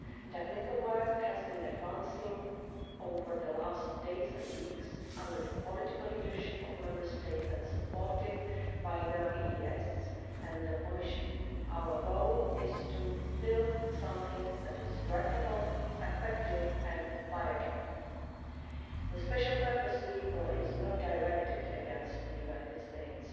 Technical work has been advancing over the last days and weeks under the political leadership of Member States and supported by the EEAS and the Commission. Our goal is to build something that is workable, effective and viable. The special purpose vehicle is not directed against the United States.